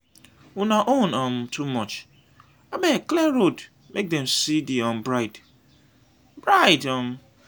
una own um too much. abeg clear road make dem see the um bride. bride. um